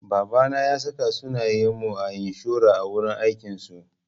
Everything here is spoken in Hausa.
Babana ya saka sunayen mu a inshora a wurin aikin su.